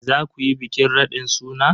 Za ku yi bikin raɗin suna?